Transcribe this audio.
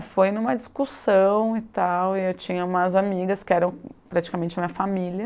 foi em uma discussão e tal, e eu tinha umas amigas que eram praticamente a minha família.